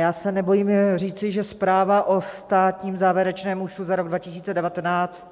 Já se nebojím říci, že zpráva o státním závěrečném účtu za rok 2019